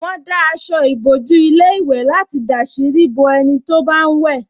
Wọ́n dá aṣọ ìbòjú ilé ìwẹ̀ láti dàsírí bo ẹni tó bá ń wẹ̀